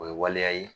O ye waleya ye